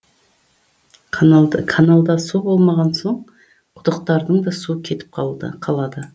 каналда су болмаған соң құдықтардың да суы кетіп қалады